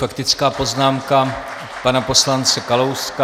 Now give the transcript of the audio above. Faktická poznámka pana poslance Kalouska.